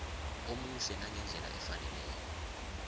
omuhle nangendlela efaneleko